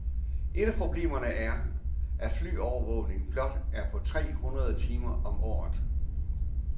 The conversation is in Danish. Et af problemerne er, at flyovervågningen blot er på tre hundrede timer om året.